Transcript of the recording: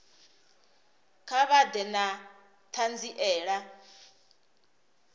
kha vha ḓe na ṱhanziela